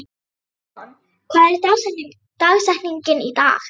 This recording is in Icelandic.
Amon, hver er dagsetningin í dag?